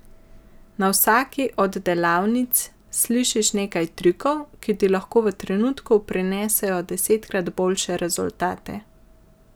Na vsaki od delavnic slišiš nekaj trikov, ki ti lahko v trenutku prinesejo desetkrat boljše rezultate.